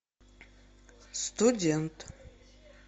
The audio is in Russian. студент